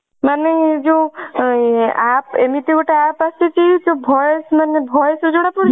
ମାନେ ଯୋଊ app ଏମତି ଗୋଟେ app ଆସିଛି ଯୋଊ voice ମାନେ voice ରୁ ଜଣାପଡିଯିବ